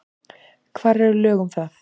Hvar eru lög um það?